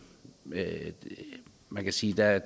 kan sige at